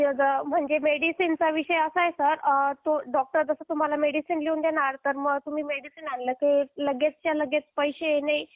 sir मेडिसिनचा विषय असा आहे सर जसं डॉक्टर तुम्हाला मेडिसिन लिहून देतील मग तुम्ही मेडिसिन आल्या की लगेचच्या लगेच तुम्हाला पैसे नाही